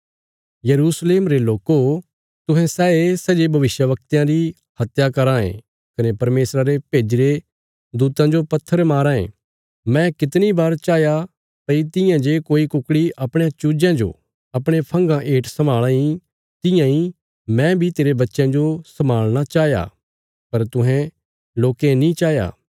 यरूशलेम रे लोको तुहें सैये सै जे भविष्यवक्तयां री हत्या कराँ ये कने परमेशरा रे भेज्जीरे दूतां जो पत्थर माराँ ये मैं कितणी बार चाहया भई तियां जे कोई कुकड़ी अपणयां चूजयां जो अपणे फंगा हेठ सम्भाल़ां इ तियां इ मैं बी तेरे बच्चयां जो सम्भाल़णा चाया पर तुहें लोकें नीं चाहया